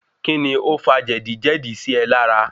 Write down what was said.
Kí ni ó fa jẹ̀díjẹ̀dí sí e lára.?